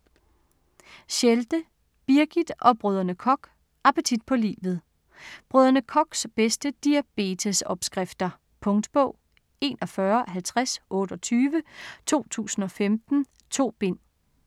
Schelde, Birgit og Brdr. Koch: Appetit på livet Brdr. Kochs bedste diabetesopskrifter. Punktbog 415028 2015. 2 bind.